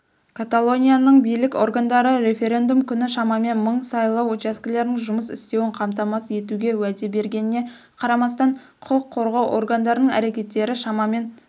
каталонияның билік органдары референдум күні шамамен мың сайлау учаскелерінің жұмыс істеуін қамтамасыз етуге уәде бергеніне қарамастан құқық қорғау органдарының әрекеттері шамамен